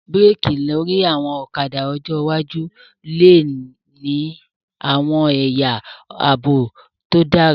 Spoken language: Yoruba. Búrékì lórí àwọn ọ̀kadà ọjọ́ iwájú lè ní àwọn ẹ̀yà àbò tí ó dára